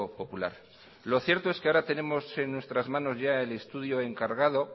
popular lo cierto es que ahora tenemos en nuestras manos ya el estudio encargado